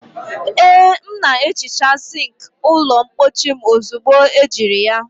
Ee m na-ehicha sink ụlọ mpochi m ozugbo ejiri ya